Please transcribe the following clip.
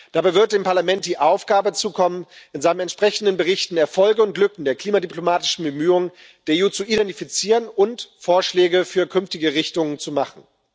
Dabei wird dem Parlament die Aufgabe zukommen, in seinen entsprechenden Berichten Erfolge und Lücken der klimadiplomatischen Bemühungen der EU zu identifizieren und Vorschläge für künftige Richtungen zu machen.